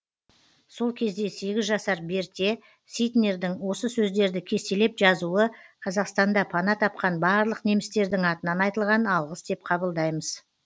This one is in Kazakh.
сол кезде сегіз жасар берте ситнердің осы сөздерді кестелеп жазуы қазақстанда пана тапқан барлық немістердің атынан айтылған алғыс деп қабылдаймыз